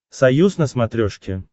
союз на смотрешке